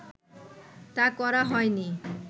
তা করা হয়নি